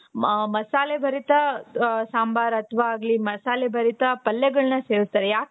ಮ ಮಸಾಲೆ ಭರಿತ ಸಾಂಬಾರ್ ಅಥವಾ ಆಗ್ಲಿ ಮಸಾಲೆ ಭರಿತ ಪಲ್ಯಗಳನ್ನ ಸೇವಿಸ್ತಾರೆ ಯಾಕೆ